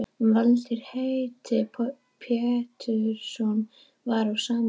Valtýr heitinn Pétursson var á sama máli.